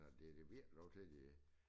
Og det det virker dog til de